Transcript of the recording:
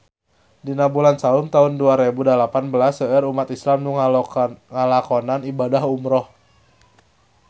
Dina bulan Saum taun dua rebu dalapan belas seueur umat islam nu ngalakonan ibadah umrah